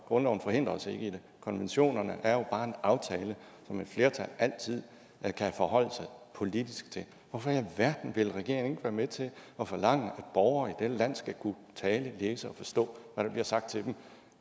grundloven forhindrer os ikke i det konventionerne er jo bare en aftale som et flertal altid kan forholde sig politisk til hvorfor i alverden vil regeringen være med til at forlange at borgere i dette land skal kunne tale læse og forstå hvad der bliver sagt til dem